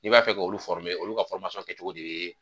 N'i b'a fɛ ka olu olu ka kɛ cogo de ye